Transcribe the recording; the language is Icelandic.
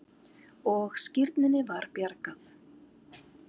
Og skírninni var bjargað.